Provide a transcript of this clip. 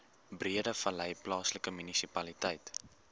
breedevallei plaaslike munisipaliteit